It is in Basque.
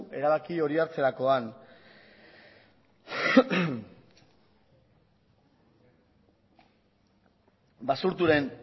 erabaki hori hartzerakoan basurtoren